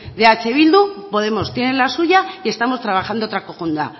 de eh bildu podemos tiene la suya y estamos trabajando otra conjunta